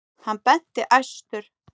Hann benti æstur.